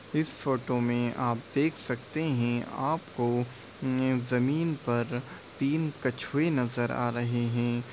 इस फोटो मे आप देख सकते है आपको जमीन पर तीन कछुए नजर आ रहे है।